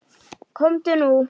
Komdu nú.